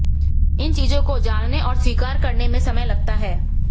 इन चीजों को जानने और स्वीकार करने में समय लगता है